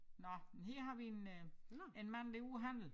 Nåh men her har vi en øh en mand der ude at handle